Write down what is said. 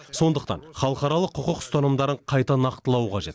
сондықтан халықаралық құқық ұстанымдарын қайта нақтылау қажет